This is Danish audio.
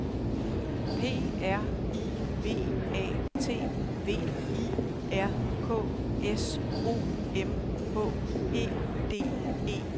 P R I V A T V I R K S O M H E D E R